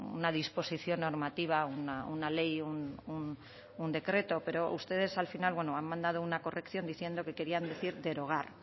una disposición normativa o una ley o un decreto pero ustedes al final han mandado una corrección diciendo que querían decir derogar